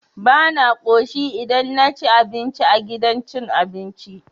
Bana ƙoshi idan naci abinci a gidan cin abinci.